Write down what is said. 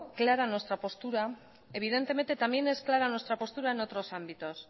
clara nuestra postura evidentemente también es clara nuestra postura en otros ámbitos